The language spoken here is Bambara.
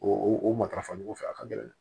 O o o matarafogo fɛ a ka gɛlɛn dɛ